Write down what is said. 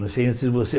Não sei nem se você